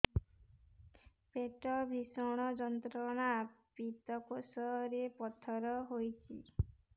ପେଟ ଭୀଷଣ ଯନ୍ତ୍ରଣା ପିତକୋଷ ରେ ପଥର ହେଇଚି